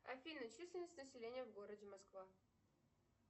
афина численность населения в городе москва